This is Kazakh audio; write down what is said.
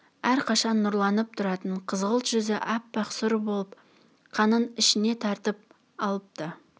әрқашан нұрланып тұратын қызғылт жүзі аппақ сұр болып қанын ішіне тартып апты